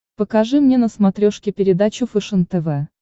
покажи мне на смотрешке передачу фэшен тв